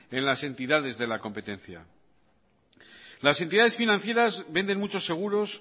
en las entidades de la competencia las entidades financieras venden muchos seguros